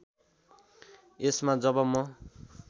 यसमा जब म